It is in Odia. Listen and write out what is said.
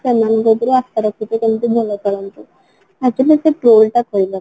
ସେମାନଙ୍କ ଥିରେ ଆଶା ରଖିଛୁ ଯେମିତି ଭଲ ଖେଳନ୍ତୁ actually